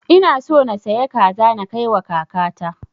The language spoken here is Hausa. Ina so na sayi kaza na kai wa kaka ta